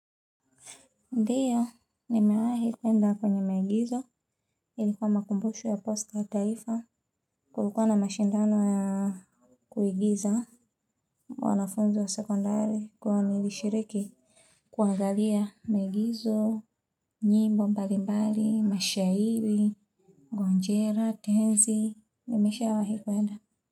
Ndiyo, nimewahi kuenda kwenye maigizo ilikuwa makumbusho ya pasta wa taifa kulikuwa na mashindano ya kuigiza wanafunzi wa sekondari kwa nilishiriki kuagalia miigizo, nyimbo mbalimbali, mashahiri, gonjera, tenzi, nimesha wahi kwenda.